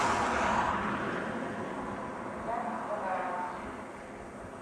запись панорама